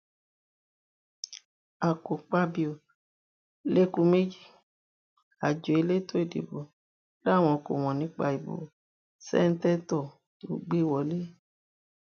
àkọpàbío lẹkú méjì o àjọ elétò ìdìbò làwọn kò mọ nípa ìbò ṣèǹtẹtò tó gbé e wọlẹ